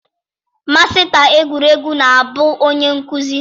Masịta egwuregwu na-abụ onye nkụzi